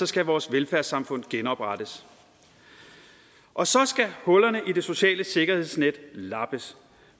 skal vores velfærdssamfund genoprettes og så skal hullerne i det sociale sikkerhedsnet lappes